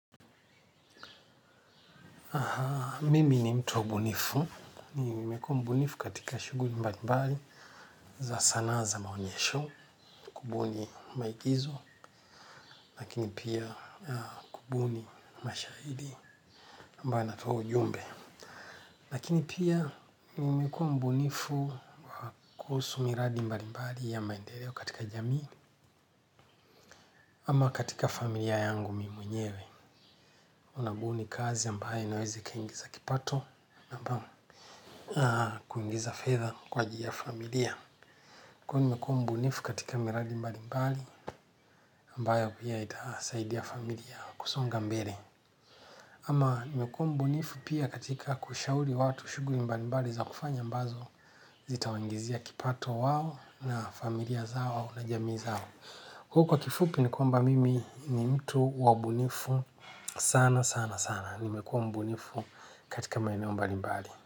Mimini mtu wa mbunifu nimekuwa mbunifu katika shughuli mbali mbali za sanaa za maonyesho kubuni maigizo lakini pia kubuni mashahiri ambayo yanatoa ujumbe. Lakini pia nimekuwa mbunifu kwa kuhusu miradi mbali mbali ya maendeleo katika jamii ama katika familia yangu mimi mwenyewe. Nabuni kazi ambayo inaweza ikaingiza kipato, kuingiza fedhs kwa ajili ya familia. Kwa hiyo nimekuwa mbunifu katika miradi mbalimbali ambayo pia itasaidia familia kusonga mbele. Ama nimekuwa mbunifu pia katika kushauri watu shughuli mbalimbali za kufanya ambazo zitawangizia kipato wao na familia zao na jamii zao. Kwa hiyo kwa kifupi ni kwamba mimi ni mtu wa ubunifu sana sana sana nimekuwa mbunifu katika maeneo mbalimbali.